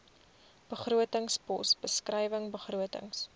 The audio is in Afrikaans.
begrotingspos beskrywing begrotings